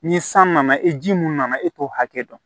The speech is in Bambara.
Ni san nana e ji mun nana e t'o hakɛ dɔn